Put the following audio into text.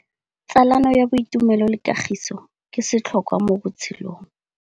Tsalano ya boitumelo le kagiso ke setlhôkwa mo botshelong.